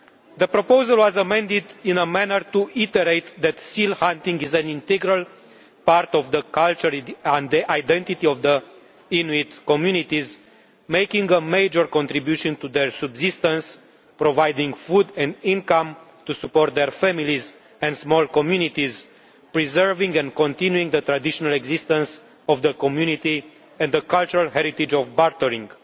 The proposal was amended so as to reiterate that seal hunting is an integral part of the culture and identity of the Inuit communities, making a major contribution to their subsistence, providing food and income to support their families and small communities, and preserving and continuing the traditional existence of the community and the cultural heritage of bartering.